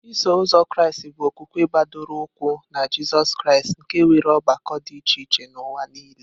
Iso Ụzọ Kraịst bụ okwukwe gbadoro ụkwụ na Jizọs Kraịst, nke nwere ọgbakọ dị iche iche n'ụwa nile.